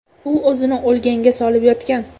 U o‘zini o‘lganga solib yotgan.